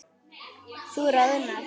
Þú roðnar.